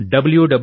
www